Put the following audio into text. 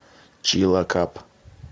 чилакап